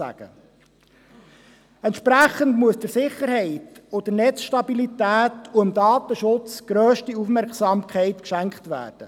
Entsprechend muss der Sicherheit, der Netzstabilität und dem Datenschutz grösste Aufmerksamkeit geschenkt werden.